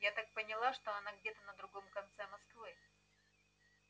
я так поняла что она где-то на другом конце москвы